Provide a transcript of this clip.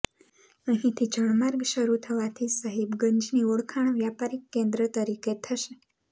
અહીંથી જળમાર્ગ શરૂ થવાથી સાહિબગંજની ઓળખાણ વ્યાપારિક કેન્દ્ર તરીકે થશે